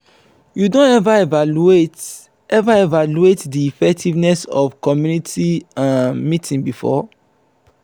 you don ever evaluate ever evaluate di effectiveness of community um meeting before?